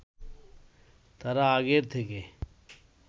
তারা আগের থেকে